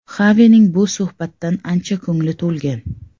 Xavining bu suhbatdan ancha ko‘ngli to‘lgan.